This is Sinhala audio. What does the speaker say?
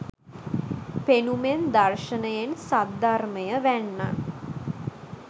පෙනුමෙන් දර්ශනයෙන්, සද්ධර්මය වැන්නන්